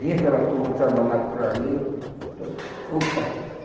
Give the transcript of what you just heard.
Vinha aquela turma trabalhar por ali. Opa